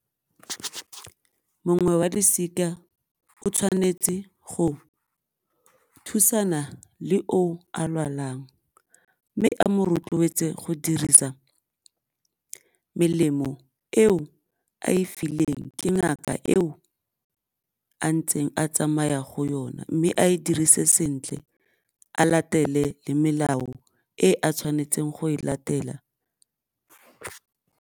Mongwe wa losika o tshwanetse go thusana le o o a lwalang mme a mo rotloetse go dirisa melemo eo a e fileng ke ngaka eo a ntseng a tsamaya go yona mme a e dirise sentle a latele le melao e a tshwanetseng go e latela.